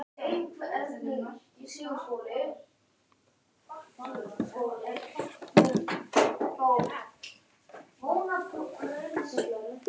Þannig hefði það verið sextán ára sögu skólans.